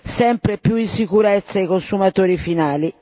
sempre più in sicurezza i consumatori finali.